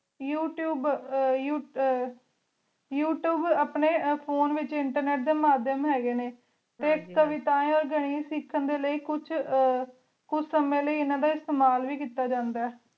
youtube ਅਹ youtube ਅਪਨੀ internet ਅਪਨੀ ਫੋਨ ਅਪਨੀ ਫੋਨ ਡੀ ਵੇਚ ਮਹਦ ਹੀ ਗੀ ਨੀ ਟੀ ਕਾਵੇਤਾਯਨ ਸਿਖਾਂ ਲੈ ਕੁਛ ਹਮਮ ਕੁਛ ਸੰਯ ਲੈ ਇਨਾ ਡੀ ਇਸਤਮਾਲ ਵੇ ਕੀਤਾ ਜਾਂਦਾ